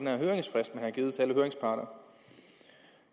ham